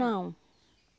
Não.